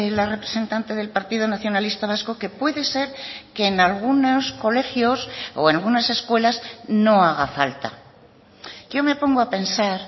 la representante del partido nacionalista vasco que puede ser que en algunos colegios o en unas escuelas no haga falta yo me pongo a pensar